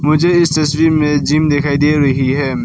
मुझे इस तस्वीर में जिम दिखाई दे रही है।